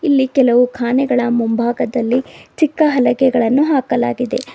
ಇಲ್ಲಿ ಕೆಲವು ಕಾನೆಗಳ ಮುಂಭಾಗದಲ್ಲಿ ಚಿಕ್ಕ ಹಲಗೆಗಳನ್ನು ಹಾಕಲಾಗಿದೆ.